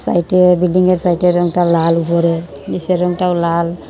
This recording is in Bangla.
সাইডে বিল্ডিংয়ের সাইডের রঙটা লাল উপরে নীচের রঙটাও লাল।